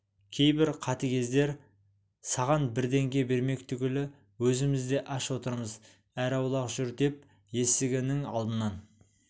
кейбір қатыгездер саған бірдеңе бермек түгілі өзіміз де аш отырмыз әрі аулақ жүр деп есігі нің алдынан